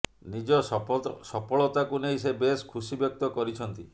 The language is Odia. ନିଜ ସଫଳତାକୁ ନେଇ ସେ ବେଶ୍ ଖୁସି ବ୍ୟକ୍ତ କରିଛନ୍ତି